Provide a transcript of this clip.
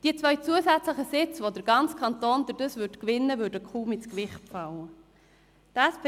Die beiden zusätzlichen Sitze, die der Kanton dadurch gewänne, würden kaum ins Gewicht fallen.